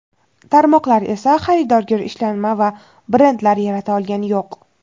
tarmoqlar esa xaridorgir ishlanma va brendlar yarata olgani yo‘q.